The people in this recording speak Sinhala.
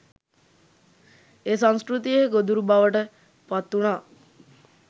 ඒ සංස්කෘතියේ ගොදුරු බවට පත් වුණා